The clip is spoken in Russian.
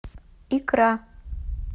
икра